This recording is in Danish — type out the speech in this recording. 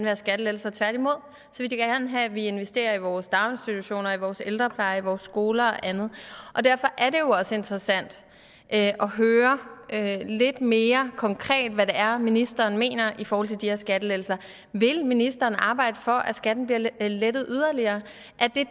have skattelettelser tværtimod vil de gerne have at vi investerer i vores daginstitutioner i vores ældrepleje i vores skoler og andet derfor er det jo også interessant at høre lidt mere konkret hvad det er ministeren mener i forhold til de her skattelettelser vil ministeren arbejde for at skatten bliver lettet yderligere